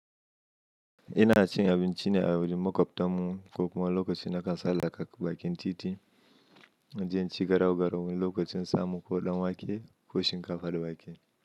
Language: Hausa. Ina cin abinci ne a wajen makwabtan mu, ko kuma lokacin nakan sallaka bakin titi, inje in ci garau garau wani lokacin samu koh dam wake koh shinkafa da wake.